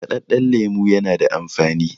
markadadden lemo yana da amfani